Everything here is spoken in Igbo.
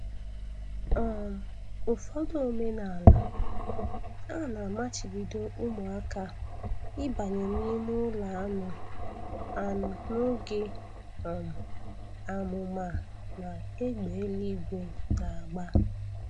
um Ụfọdụ omenaala, a na-amachibido ụmụaka ịbanye n'ime ụlọ anụ anụ n'oge um àmụ̀mà na égbè eluigwe na-agba